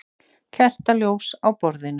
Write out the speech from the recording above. Kertaljós á borðinu.